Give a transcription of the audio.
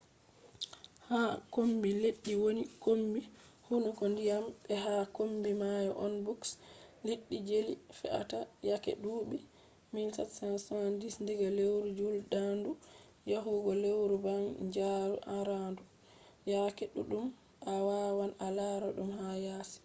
ha kombi leddi woni kombi hunduko ndiyam be ha kombi mayo on boks liɗɗi jeli fe’ata yake duuɓi 1770 diga lewru juldandu yahugo lewru banjaru arandu. yake ɗuɗɗum a wawan a lara ɗum ha yasi